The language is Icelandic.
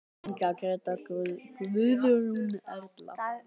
Inga, Gréta, Guðrún, Erla.